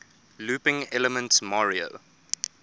looping elements mario